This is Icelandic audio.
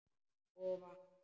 Og vatn.